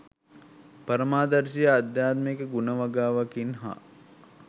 පරමාදර්ශී ආධ්‍යාත්මික ගුණ වගාවකින් හා